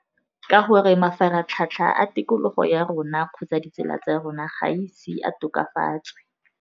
Ka gore mafaratlhatlha a tikologo ya rona kgotsa ditsala tsa rona ga ise a tokafastwe.